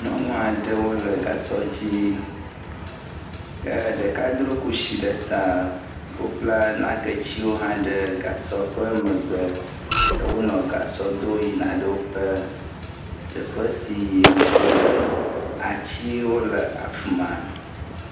Nyɔnu aɖewo le gasɔ dzi e ɖeka dro kusi ɖe ta, wobla naketiwo hã ɖe gasɔ ƒe megbe, ke wonɔ gasɔ dom yina ɖe woƒe teƒe si yim wole, atiwo le afi ma.